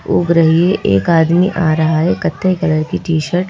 ओग रही है एक आदमी आ रहा है कथे कलर की टी_शर्ट --